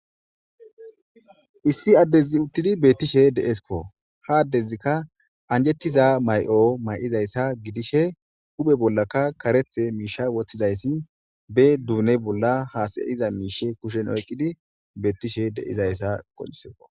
Issi addezi uttidi beettishe de'eskko ha addezikka anjettiza may'o may'izayssa gidishe guphe bollaka karethe miisha woththizayssi be duune bolla haasayiza miishe kushen oyqqidi beettishe deizayssa qoncciseko.